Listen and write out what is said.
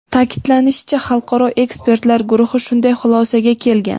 Ta’kidlanishicha, Xalqaro ekspertlar guruhi shunday xulosaga kelgan.